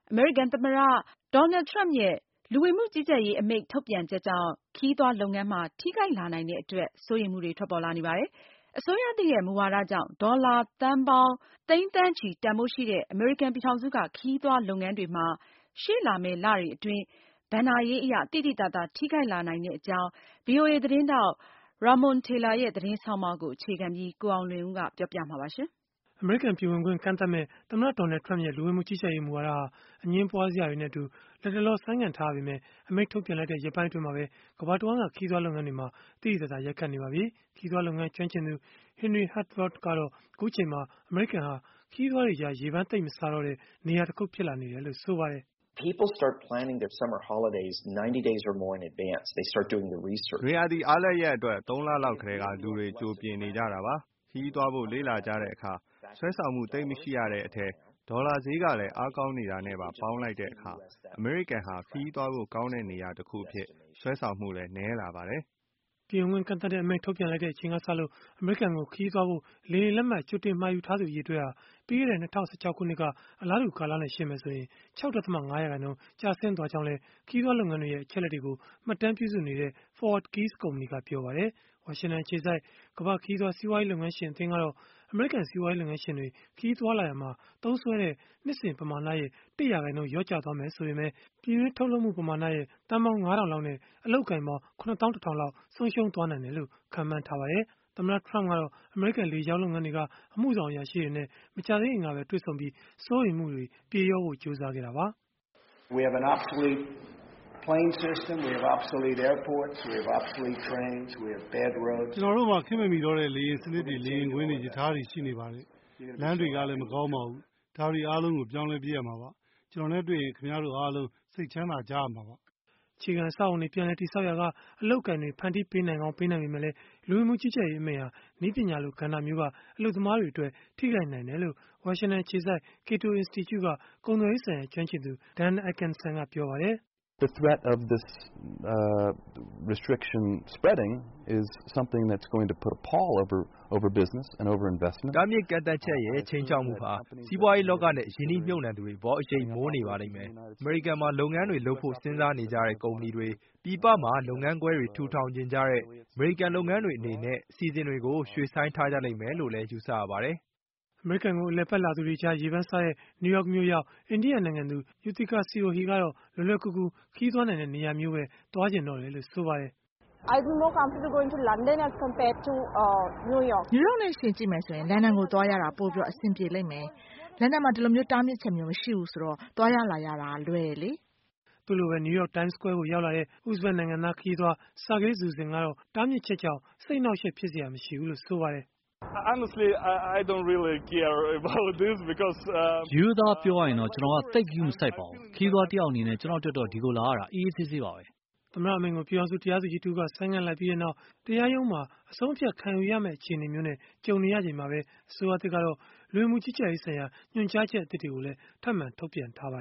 အမေရိကန်သမ္မတ Donald Trump ရဲ့ လူဝင်မှုကြီးကြပ်ရေး အမိန့်ထုတ်ပြန်ချက်ကြောင့် ခရီးသွားလုပ်ငန်းမှာ ထိခိုက်လာနိုင်တဲ့အတွက် စိုးရိမ်မှုတွေ ထွက်ပေါ်လာနေပါတယ်။ အစိုးရသစ်ရဲ့ မူဝါဒကြောင့် ဒေါ်လာသန်းပေါင်း သိန်း၊ သန်းချီ တန်ဘိုးရှိတဲ့ အမေရိကန် ပြည်ထောင်စုက ခရီးသွားလုပ်ငန်းတွေမှာ ရှေ့လာမယ့်လတွေအတွင်း ဘဏ္ဍာရေးအရ သိသိသာသာ ထိခိုက်လာနိုင်တဲ့အကြောင်း ဗွီအိုအေ သတင်းထောက် Ramon Taylor ရဲ့ သတင်းဆောင်းပါးကို အခြေခံပြီး ကိုအောင်လွင်ဦး က တင်ပြပေးမှာဖြစ်ပါတယ်။ အမေရိကန် ပြည်ဝင်ခွင့် ကန့်သတ်မယ့် သမ္မတ Donald Trump ရဲ့ လူဝင်မှုကြီးကြပ်ရေး မူဝါဒဟာ အငြင်းပွားစရာတွေနဲ့အတူ လတ်တလော ဆိုင်းငံ့ထားရပေမဲ့ - အမိန့်ထုတ်ပြန်လိုက်တဲ့ ရက်ပိုင်းအတွင်းမှာပဲ ကမ္ဘာတဝန်းက ခရီးသွား လုပ်ငန်းတွေမှာ သိသိသာသာ ရိုက်ခတ်နေပါပြီ။ ခရီးသွားလုပ်ငန်း ကျွမ်းကျင်သူ Henry Harteveldt ကတော့ အခုအချိန်မှာ အမေရိကန်ဟာ ခရီးသွားတွေကြား ရေပမ်းသိပ်မစားတဲ့ နေရာတခု ဖြစ်လာနေတယ်လို့ ပြောပါတယ်။ “နွေရာသီအားလပ်ရက်အတွက် ၃ လလောက်ကတည်းက လူတွေက ကြိုပြင်နေကြတာပါ။ ခရီးသွားဖို့ လေ့လာကြတဲ့အခါ ဆွဲဆောင်မှု သိပ်မရှိရတဲ့အထဲ ဒေါ်လာဈေးက အားကောင်းနေတာနဲ့ပါ ပေါင်းလိုက်တဲ့အခါ၊ အမေရိကန်ဟာ ခရီးသွားဖို့ကောင်းတဲ့ နေရာတခုအဖြစ် ဆွဲဆောင်မှုလည်း နည်းလာပါတယ်။” ပြည်ဝင်ခွင့်ကန့်သတ်တဲ့အမိန့် ထုတ်ပြန်လိုက်တဲ့အချိန်ကစလို့ အမေရိကန်ကို ခရီးသွားဖို့ လေယာဉ်လက်မှတ် ကြိုတင်မှာယူထားသူ အရေအတွက်ဟာ ပြီးခဲ့တဲ့ ၂၀၁၆ ခုနှစ်က အလားတူ ကာလနဲ့ ယှဉ်မယ်ဆိုရင် ၆.၅% ကျဆင်းသွားကြောင်းလည်း ခရီးသွားလုပ်ငန်းတွေရဲ့ အချက်အလက်တွေကို မှတ်တမ်းပြုစုနေတဲ့ ForwardKeys ကုမ္ပဏီ ပြောပါတယ်။ ဝါရှင်တန်အခြေစိုက် ကမ္ဘာ့ခရီးသွား စီးပွားရေးလုပ်ငန်းရှင် အသင်းကတော့ အမေရိကန် စီးပွားရေးလုပ်ငန်းရှင်တွေ ခရီးသွားလာရာမှာ သုံးစွဲတဲ့ နှစ်စဉ်ပမာဏရဲ့ ၁ ရာခိုင်နှုန်း လျော့ကျမယ် ဆိုရင်ပဲ၊ ပြည်တွင်းကုန်ထုတ်လုပ်မှုက သန်းပေါင်း ၅၀၀၀ လောက်နဲ့ အလုပ်အကိုင်ပေါင်း ၇၁,၀၀၀ လောက် ဆုံးရှုံးနိုင်တယ်လို့ ခန့်မှန်းထားပါတယ်။ သမ္မတ Trump ကတော့ အမေရိကန်လေကြောင်းလုပ်ငန်းတွေက အမှုဆောင်အရာရှိတွေနဲ့ မကြာသေးခင်ကပဲ တွေ့ဆုံပြီး စိုးရိမ်မှုတွေ ပြေလျော့ဖို့ ကြိုးစားခဲ့တာပါ။ “ကျနော်တို့မှာ ခေတ်မမီတော့တဲ့ လေယာဉ်စနစ်တွေ၊ လေယာဉ်ကွင်းတွေ၊ ရထားတွေ ရှိနေပါတယ်။ လမ်းတွေကလည်း မကောင်းပါဘူး။ ဒါတွေအားလုံးကို ပြောင်းလဲပစ်မှာပါ။ ကျနော်နဲ့တွေ့ရင် ခင်ဗျားတို့အားလုံး စိတ်ချမ်းသာကြရမှာပါ။” အခြေခံအဆောက်အအုံတွေ ပြန်လည်တည်ဆောက်ရာက အလုပ်အကိုင်တွေ ဖန်တီးပေးနိုင်ပေမဲ့လည်း၊ လူဝင်မှုကြီးကြပ်ရေး အမိန့်ဟာ နည်းပညာလို ကဏ္ဍမျိုးက အလုပ်သမားတွေအတွက် ထိခိုက်နိုင်တယ်လို့ ဝါရှင်တန်အခြေစိုက် Cato Institute က ကုန်သွယ်ရေးဆိုင်ရာ ကျွမ်းကျင်သူ Dan Ikenson ကပြောပါတယ်။ “တားမြစ်ကန့်သတ်ချက်ရဲ့ ခြိမ်းခြောက်မှုဟာ စီးပွားရေးလောကနဲ့ ရင်းနှီးမြှုပ်နှံမှုတွေအပေါ် အရိပ်မိုးနေပါလိမ့်မယ်။ အမေရိကန်မှာ လုပ်ငန်းတွေလုပ်ဖို့ စဉ်းစားနေကြတဲ့ ကုမ္ပဏီတွေ၊ ပြည်ပမှာ လုပ်ငန်းခွဲတွေ ထူထောင်ချင်ကြတဲ့ အမေရိကန် လုပ်ငန်းတွေအနေနဲ့ အစီအစဉ်တွေကို ရွှေ့ဆိုင်းထားကြလိမ့်မယ်လို့လည်း ယူဆရပါတယ်။” အမေရိကန်ကို အလည်အပတ်လာသူတွေကြား ရေပမ်းစားတဲ့ နယူးယောက်မြို့ရောက် အိန္ဒိယနိုင်ငံသူ Yuthicka Sirohi ကတော့ လွယ်လွယ်ကူကူ ခရီးသွားနိုင်တဲ့ နေရာမျိုးကိုပဲ သွားချင်တော့တယ်လို့ ဆိုပါတယ်။ “နယူးယောက်နဲ့ ယှဉ်ကြည့်မယ်ဆိုရင်တော့ လန်ဒန်ကိုသွားရတာ ပိုပြီးအဆင်ပြေပါလိမ့်မယ်။ လန်ဒန်မှာ ဒီလိုတားမြစ်ချက်မျိုး မရှိတာကြောင့် သွားရလာရလည်း လွယ်တယ်လေ။” သူ့လိုပဲ နယူးယောက် Times Square ကိုရောက်လာတဲ့ ဥဇဘတ်နိုင်ငံသား ခရီးသွား Sergey Zusin ကတော့ တားမြစ်ချက်ကြောင့် စိတ်အနှောင့်အယှက် ဖြစ်စရာမရှိဘူးလို့ ဆိုပါတယ်။ “ရိုးရိုးသားသားပြောရရင်၊ ကျနော်ကတော့ သိပ်ဂရုမစိုက်ပါဘူး။ ခရီးသွားတယောက်အနေနဲ့ ကျနော့်အတွက်တော့ ဒီကိုလာရတာ အေးအေး ဆေးဆေးပါပဲ။” သမ္မတအမိန့်ကို ပြည်ထောင်စု တရားသူကြီးတဦးက ဆိုင်းငံ့လိုက်ပြီးနောက် တရားရုံးမှာ အဆုံးအဖြတ်ခံယူရမယ့် အခြေအနေမျိုးနဲ့ ကြုံနေရချိန်မှာ ပဲ၊ အစိုးရသစ်ကတော့ လူဝင်မှုကြီးကြပ်ရေးဆိုင်ရာ ညွှန်ကြားချက်အသစ်တွေကိုလည်း ထပ်မံထုတ်ပြန်ထားပါ